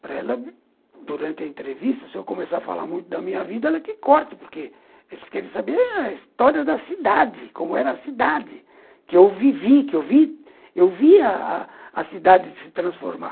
Para ela, durante a entrevista, se eu começar a falar muito da minha vida, ela que corte, porque eles querem saber a história da cidade, como era a cidade, que eu vivi, que eu vi a cidade se transformar.